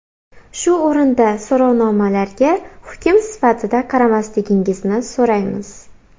Shu o‘rinda so‘rovnomalarga hukm sifatida qaramasligingizni so‘raymiz.